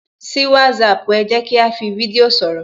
Ṣí WhatsApp ẹ, jẹ́ kí á fi fídíò sọ̀rọ̀